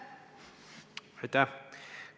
Aitäh!